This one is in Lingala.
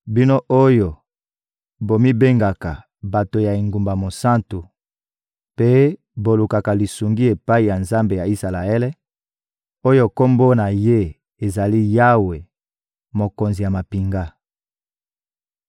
Bino oyo bomibengaka «Bato ya engumba mosantu» mpe bolukaka lisungi epai ya Nzambe ya Isalaele, oyo Kombo na Ye ezali «Yawe, Mokonzi ya mampinga.»